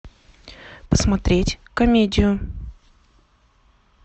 посмотреть комедию